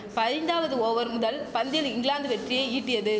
பதிந்தாவது over முதல் பந்தில் இங்கிலாந்து வெற்றியை ஈட்டியது